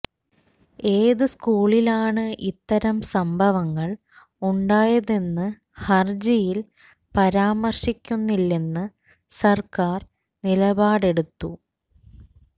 ഏത് സ്കൂളിലാണ് ഇത്തരം സംഭവങ്ങൾ ഉണ്ടായതെന്ന് ഹര്ജിയിൽ പരാമര്ശിക്കുന്നില്ലെന്ന് സര്ക്കാര് നിലപാടെടുത്തു